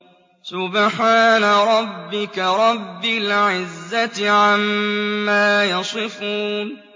سُبْحَانَ رَبِّكَ رَبِّ الْعِزَّةِ عَمَّا يَصِفُونَ